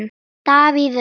Davíð Örn.